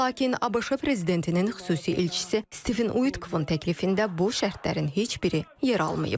Lakin ABŞ prezidentinin xüsusi elçisi Stiven Utkon təklifində bu şərtlərin heç biri yer almayıb.